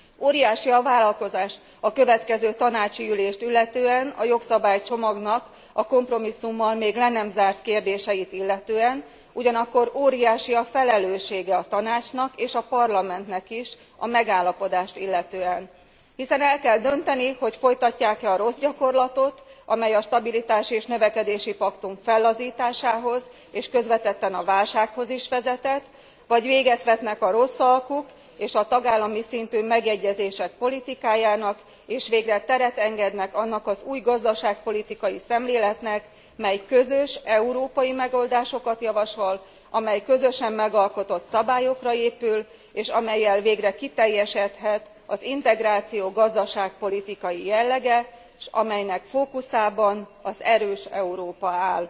Óriási a várakozás a következő tanácsi ülést illetően, a jogszabálycsomagnak a kompromisszummal még le nem zárt kérdéseit illetően, ugyanakkor óriási a felelőssége a Tanácsnak és a Parlamentnek is a megállapodást illetően, hiszen el kell dönteni, hogy folytatják e a rossz gyakorlatot, amely a stabilitási és növekedési paktum fellazításához és közvetetten a válsághoz is vezetett, vagy véget vetnek a rossz alkuk és a tagállami szintű megegyezések politikájának és végre teret engednek annak az új gazdaságpolitikai szemléletnek, mely közös, európai megoldásokat javasol, amely közösen megalkotott szabályokra épül, és amellyel végre kiteljesedhet az integráció gazdaságpolitikai jellege, s amelynek fókuszában az erős Európa áll.